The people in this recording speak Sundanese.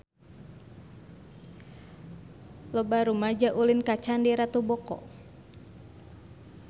Loba rumaja ulin ka Candi Ratu Boko